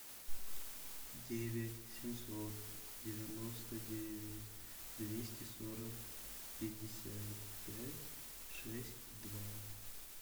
девять семьсот девяносто девять двести сорок пятьдесят пять шесть два